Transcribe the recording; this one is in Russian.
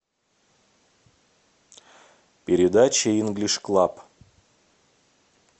передача инглиш клаб